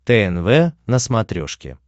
тнв на смотрешке